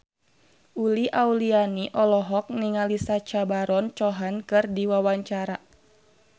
Uli Auliani olohok ningali Sacha Baron Cohen keur diwawancara